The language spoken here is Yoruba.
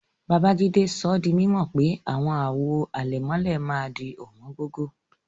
Babajídé sọ dí mímọ̀ pé awọn àwò àlẹ̀mọ̀lẹ̀ màá dì owóngógó.